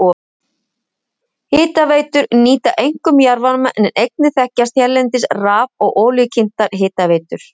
Hitaveitur nýta einkum jarðvarma en einnig þekkjast hérlendis raf- og olíukyntar hitaveitur.